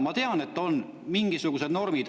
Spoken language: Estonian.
Ma tean, et on mingisugused normid.